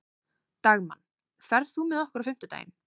Dagmann, ferð þú með okkur á fimmtudaginn?